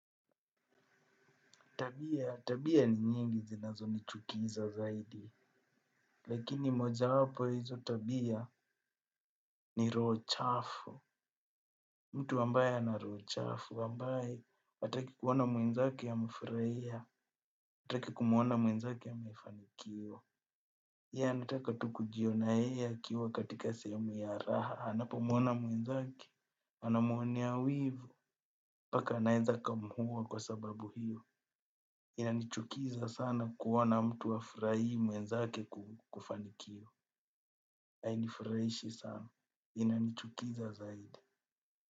Tabia, tabia ni nyingi zinazonichukiza zaidi. Lakini mojawapo ya hizo tabia ni roho chafu. Mtu ambaye ana rohochafu. Ambaye, hataki kuona mwenzake amefurahia. Hataki kumwona mwenzake amefanikiwa. Yeye, anataka tu kujiona yeye akiwa katika sehemu ya raha. Anapomwona mwenzake. Anamwonea wivu. Mpaka anaeza akamuua kwa sababu hiyo. Inanichukiza sana kuona mtu hafurahii mwenzake kufanikiwa hainifurahishi sana. Inanichukiza zaidi.